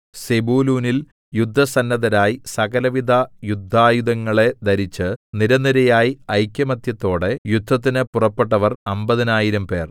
സെബൂലൂനിൽ യുദ്ധസന്നദ്ധരായി സകലവിധ യുദ്ധായുധങ്ങളെ ധരിച്ചു നിരനിരയായി ഐകമത്യത്തോടെ യുദ്ധത്തിന് പുറപ്പെട്ടവർ അമ്പതിനായിരംപേർ